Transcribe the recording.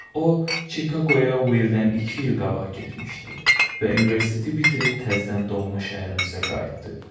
O, Chicagoya Willdən iki il qabaq getmişdi və universiteti bitirib təzdən doğma şəhərimizə qayıtdı.